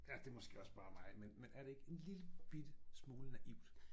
Ja det måske også bare mig men men er det ikke en lillebitte smule naivt?